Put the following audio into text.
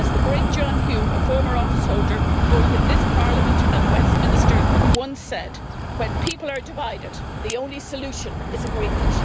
As the great Mr John Hume, a former office holder both of this parliament and Westminster, once said when people are divided, the only solution is agreement.'